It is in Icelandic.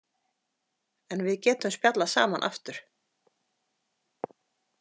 En við getum spjallað saman aftur.